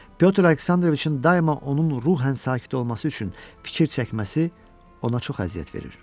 Pyotr Aleksandroviçin daima onun ruhən sakit olması üçün fikir çəkməsi ona çox əziyyət verir.